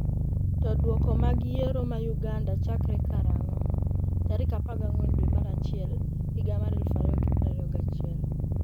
to Duoko mag yiero ma Uganda chakre karang'o tarik 14 dwe mar achiel higa mar 2021?